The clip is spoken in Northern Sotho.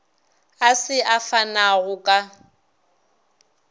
a se a fanago ka